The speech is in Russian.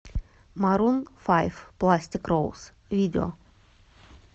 марун файв пластик роуз видео